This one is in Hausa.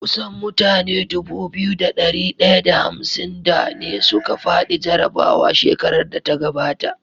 Kusan mutane Dubu biyu da dari daya da hamsin da ne suka fadi jarabawa shekarar da ta gabata